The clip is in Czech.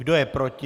Kdo je proti?